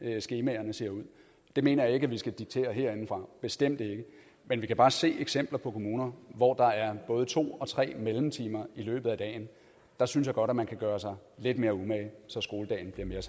skemaerne ser ud det mener jeg ikke at vi skal diktere herindefra bestemt ikke men vi kan bare se eksempler på kommuner hvor der er både to og tre mellemtimer i løbet af dagen der synes jeg godt at man kan gøre sig lidt mere umage så skoledagen bliver